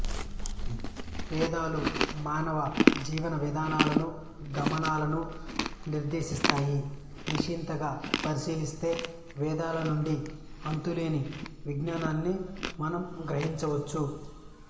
వేదాలు మానవ జీవన విధానలను గమనాలను నిర్దేశిస్తాయి నిశితంగా పరిశీలిస్తే వేదాల నండి అంతులేని విజ్ఞానాన్ని మనం గ్రహించవఛ్ఛు